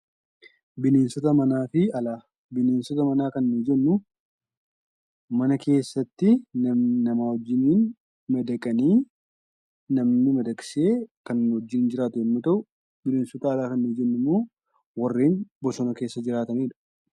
Bineensota mana kan nuti jennu mana keessatti namaa wajjiniin madaqanii namni madaqsee kan wajjin jiraatan yemmuu ta'u, bineensota alaa kan jennu ammoo warreen bosona keessa jiraatanidha.